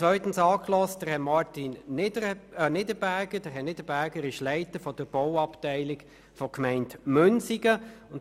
Zweitens haben wir Herrn Martin Niederberger angehört, den Leiter der Bauabteilung der Gemeinde Münsingen.